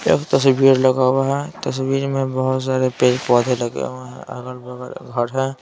एक तस्वीर लगा हुआ है तस्वीर में बहुत सारे पेज पौधे लगे हुए हैं अगल-बगल घर है।